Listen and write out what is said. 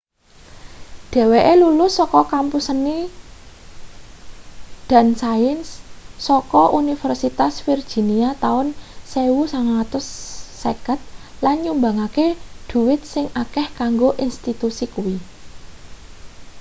dheweke lulus saka kampus seni & sains saka universitas virginia taun 1950 lan nyumbangke dhuwit sing akeh kanggo institusi kuwi